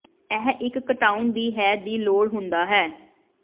ਇਹ ਇੱਕ ਘਟਾਉਣ ਦੀ ਹੈ ਦੀ ਲੋੜ ਹੁੰਦਾ ਹੈ